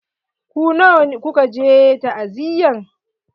Ku nawa kuka je ta'aziyan?